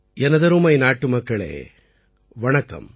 எனதருமை நாட்டுமக்களே வணக்கம்